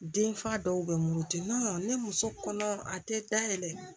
Den fa dɔw bɛ muruti ni muso kɔnɔ a tɛ da yɛlɛ